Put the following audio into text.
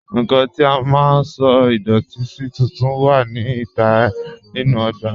Nnkàn tí à má sọ̀ idọ̀tì sí tùntún wà ní ìtà nínu ogbà